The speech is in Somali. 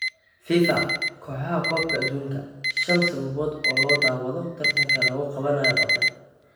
Fifa kooxaxa koopka adubka: Shan sababood oo loo daawado tartanka lagu qabanayo Qatar